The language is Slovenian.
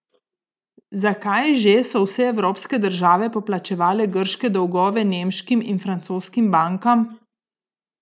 Zakaj že so vse evropske države poplačevale grške dolgove nemškim in francoskim bankam?